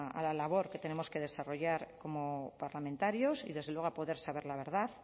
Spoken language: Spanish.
a la labor que tenemos que desarrollar como parlamentarios y desde luego a poder saber la verdad